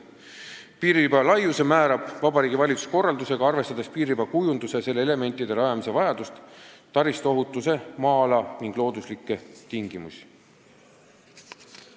" Ja veel: "Piiririba laiuse määrab Vabariigi Valitsus oma korraldusega, arvestades piiririba kujunduse ja selle elementide rajamise vajadust, taristu ohutuse maa-ala ning looduslikke tingimusi.